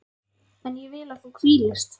En ég vil að þú hvílist.